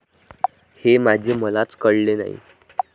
हे माझे मलाच कळले नाही.